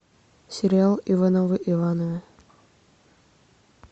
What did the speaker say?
сериал ивановы ивановы